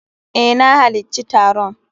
Eh, na halacci taron.